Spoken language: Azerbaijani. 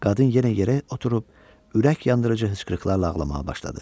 Qadın yenə yerə oturub, ürək yandırıcı hıçqırıqlarla ağlamağa başladı.